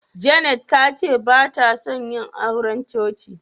Janet tace batason yina auren cuci.